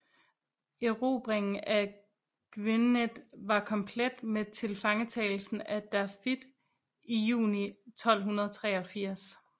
Erobringen af Gwynedd var komplet med tilfangetagelsen af Dafydd i juni 1283